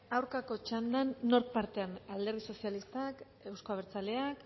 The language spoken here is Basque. aurkako txandan nork parte alderdi sozialistak euzko abertzaleak